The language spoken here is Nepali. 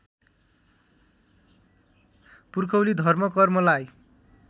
पुर्खौली धर्म कर्मलाई